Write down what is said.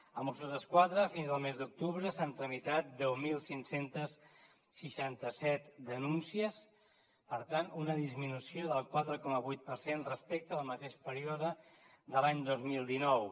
als mossos d’esquadra fins al mes d’octubre s’han tramitat deu mil cinc cents i seixanta set denúncies per tant una disminució del quatre coma vuit per cent respecte al mateix període de l’any dos mil dinou